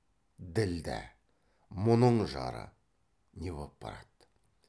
ділдә мұның жары не боп барады